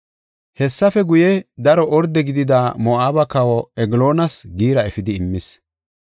Hessafe guye, daro orde gidida Moo7abe kawa Egloonas giira efidi immis.